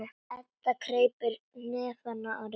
Edda kreppir hnefana af reiði.